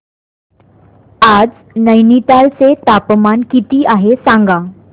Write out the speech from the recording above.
आज नैनीताल चे तापमान किती आहे सांगा